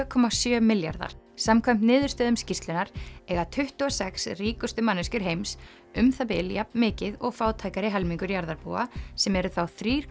komma sjö milljarðar samkvæmt niðurstöðum skýrslunnar eiga tuttugu og sex ríkustu manneskjur heims um það bil jafn mikið og fátækari helmingur jarðarbúa sem eru þá þrjú